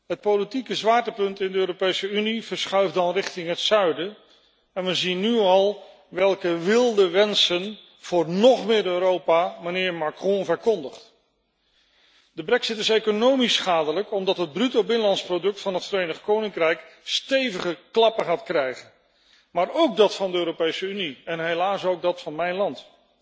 Het politieke zwaartepunt in de Europese Unie verschuift dan richting het zuiden en we zien nu al welke wilde wensen voor nog meer Europa mijnheer Macron verkondigt. De brexit is economisch schadelijk omdat het bruto binnenlands product van het Verenigd Koninkrijk stevige klappen gaat krijgen, maar ook dat van de Europese Unie en helaas ook dat van mijn land.